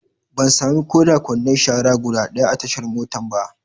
Ban sami ko da kwandon shara guda ɗaya a tashar motan ba.